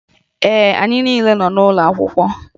Ee, anyị niile nọ n'ụlọ akwụkwọ